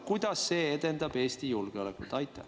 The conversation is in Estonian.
Kuidas see edendab Eesti julgeolekut?